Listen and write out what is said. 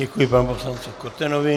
Děkuji panu poslanci Kotenovi.